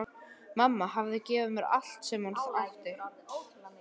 Mamma hafði gefið mér allt sem hún átti.